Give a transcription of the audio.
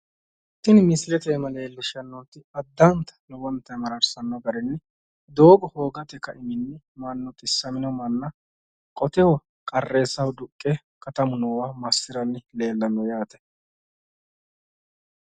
Tini misilete iima leellishshanni nooti addanta lowontayi marrarsanno garinni doogo hoogate ka"iminni mannu xissamino manna qoteho qarreessaho duqqe katamu noowa massiraanni llellanno yaate